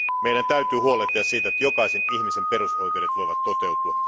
Meidän täytyy huolehtia siitä, että jokaisen ihmisen perusoikeudet voivat toteutua.